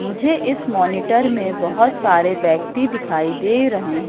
मुझे इस मॉनिटर में बहोत सारे व्यक्ति दिखाई दे रहे है।